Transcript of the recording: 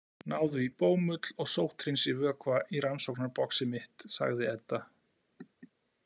Náðu í bómull og sótthreinsivökva í rannsóknarboxið mitt, sagði Edda.